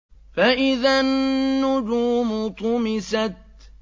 فَإِذَا النُّجُومُ طُمِسَتْ